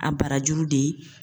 A barajuru de